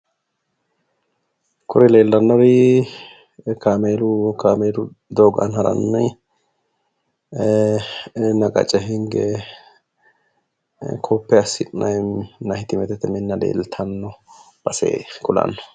Koye leellannowi woy kameelu kameelu doogo aana haranni ee minna qacce hinge koppe assi'nayi maahittemete minna leeltanno base kulanno